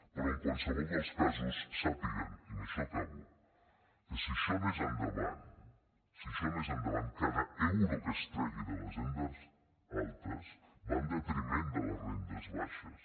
però en qualsevol dels casos sàpiguen i amb això acabo que si això anés endavant si això anés endavant cada euro que es tregui de les rendes altes va en detriment de les rendes baixes